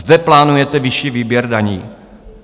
Zde plánujete vyšší výběr daní?